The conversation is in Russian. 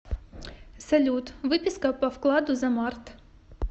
салют выписка по вкладу за март